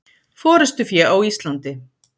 Forystufé á Íslandi.